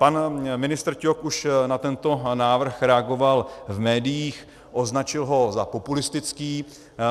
Pan ministr Ťok už na tento návrh reagoval v médiích, označil ho za populistický.